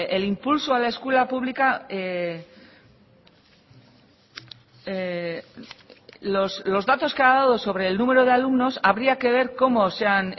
el impulso a la escuela pública los datos que ha dado sobre el número de alumnos habría que ver cómo se han